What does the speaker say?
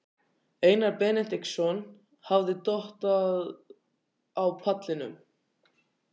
Einar Benediktsson hafði dottað á pallinum.